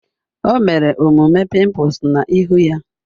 O mere omume pimples na ihu ya